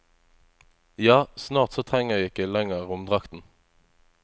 Ja, snart så trenger jeg ikke lenger romdrakten.